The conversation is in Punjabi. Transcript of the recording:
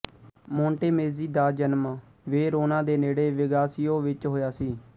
ਮੋਂਟੇਮੇਜ਼ੀ ਦਾ ਜਨਮ ਵੇਰੋਨਾ ਦੇ ਨੇੜੇ ਵਿਗਾਸੀਓ ਵਿੱਚ ਹੋਇਆ ਸੀ